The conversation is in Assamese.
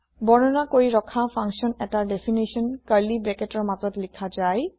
বৰ্ণনা কৰি ৰখা ফাংচন এটাৰ দেফিনাছন সংজ্ঞা কাৰ্লী ব্ৰেকেটৰ মাজত লিখা যায়